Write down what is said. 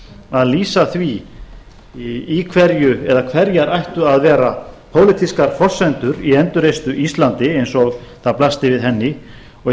að lýsa því í hverju eða hverjar ættu að vera pólitískar forsendur í endurreisn á íslandi eins og það blasti við henni og